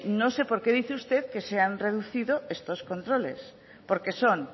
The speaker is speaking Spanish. no sé por qué dice usted que se han reducir estos controles porque son